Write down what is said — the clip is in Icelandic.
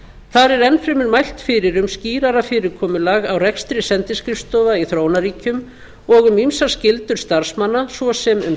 þar er enn fremur mælt fyrir um skýrara fyrirkomulag á rekstri sendiskrifstofa í þróunarríkjum og um ýmsar skyldur starfsmanna svo sem um